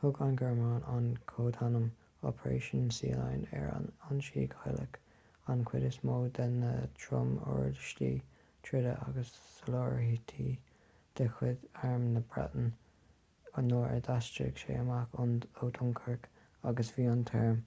thug an ghearmáin an códainm operation sealion ar an ionsaí cailleadh an chuid is mó de na trom-uirlisí troda agus soláthairtí de chuid arm na breataine nuair a d'aistrigh sé amach ó dunkirk agus bhí an t-arm